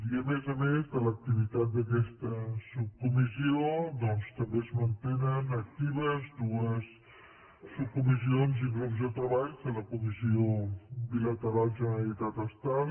i a més a més de l’activitat d’aquesta subcomissió doncs també es mantenen actives dues subcomissios i grups de treball de la comissió bilateral generalitatestat